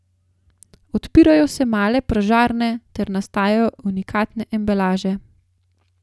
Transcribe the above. Odpirajo se male pražarne ter nastajajo unikatne embalaže.